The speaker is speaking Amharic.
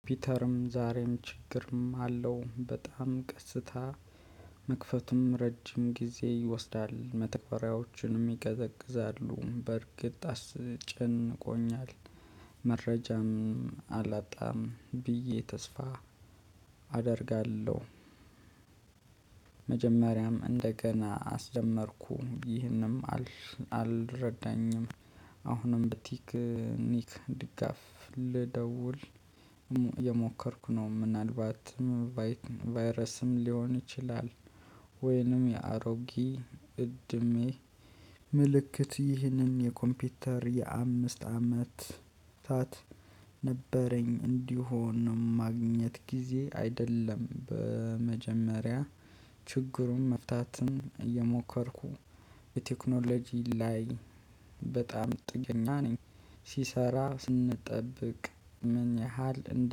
ፒተርም ዛሬም ችግርም አለው። በጣም ቀስታ መክፈቱም ረጅም ጊዜ ይወስዳል። መተግበሪያዎችንም ይቀዘግዛሉ በርግጥ አስጭን ቆኛል መረጃም አላጣም ብዬ ተስፋ አደርጋለሁ። መጀመሪያም እንደገና አስደመርኩ ይህንም አልረዳኝም። አሁንም በቲክኒክ ድጋፍ ልደውል የሞከርኩ ነው። ምናልባትም ቫይረስም ሊሆን ይችላል። ወይንም የአሮጊ እድሜ ምልክት ይህንን የኮምፒውተር የአምስት አመት ታት ነበረኝ። እንዲሆን ነው ማግኘት ጊዜ አይደለም። በመጀመሪያ ችግሩን መፍታትን እየሞከርኩ የቴክኖሎጂ ላይ በጣም ጥገኛ ነኝ። ሲሰራ ስንጠብቅ ምን ያህል